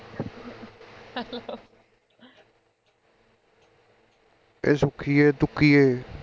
ਇਹ ਸੁੱਖੀਏ ਤੁਕੀਏ